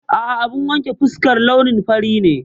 A'a, abun wanke fuskar launin fari ne.